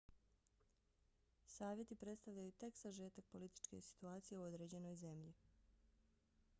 savjeti predstavljaju tek sažetak političke situacije u određenoj zemlji